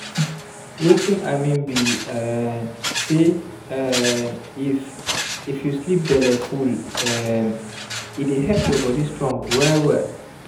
watin i mean be um say um if if you sleep bellefull um e dey help your body strong well well